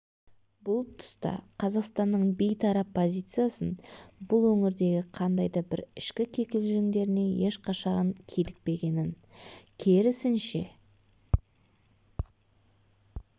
бұл тұста қазақстанның бейтарап позициясын бұл өңірдегі қандай да бір ішкі кикілжіңдеріне ешқашан килікпегенін керісінше